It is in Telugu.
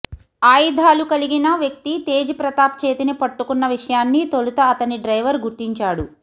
ఆయుధాలు కలిగిన వ్యక్తి తేజ్ ప్రతాప్ చేతిని పట్టుకున్న విషయాన్ని తొలుత అతని డ్రైవర్ గుర్తించాడు